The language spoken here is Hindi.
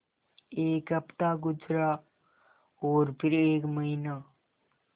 एक हफ़्ता गुज़रा और फिर एक महीना